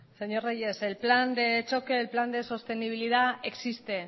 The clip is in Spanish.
señor reyes el plan de choque el plan de sostenibilidad existe